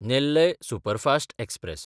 Nellai superfast express